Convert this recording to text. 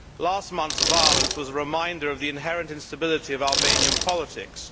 Last month's violence was a reminder of the inherent instability of Albanian politics.